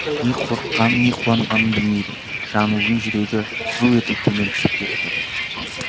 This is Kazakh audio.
не қорыққанын не қуанғанын білмейді жаңылдың жүрегі зу етіп төмен түсіп кетті